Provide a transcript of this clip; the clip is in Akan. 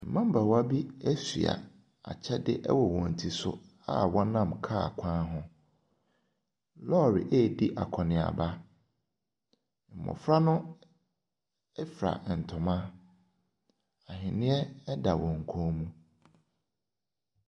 Mmabaawa bi ɛsoa akyɛde ɛwɔ wɔn ti so a ɔnam car kwan ho. Lɔri eedi akɔniaba. Mmɔfra no efra ntoma aheneɛ ɛda wɔn kon mu.